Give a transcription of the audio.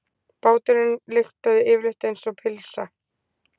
Báturinn lyktaði yfirleitt einsog pylsa.